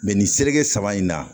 nin se kɛ saba in na